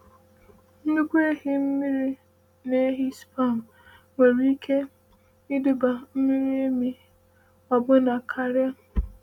“Nnukwu ehi mmiri na ehi sperm nwere ike ịduba miri emi ọbụna karịa.”